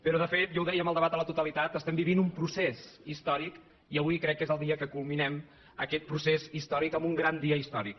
però de fet ja ho dèiem en el debat a la totalitat estem vivint un procés històric i avui crec que és el dia que culminem aquest procés històric amb un gran dia histò ric